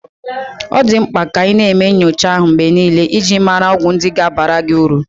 Ọ dị mkpa ka ị na-eme nyocha ahu mgbe niile iji mara ọgwụ ndị ga-abara gị uru.